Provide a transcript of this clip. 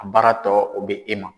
A baara tɔ o bɛ e ma.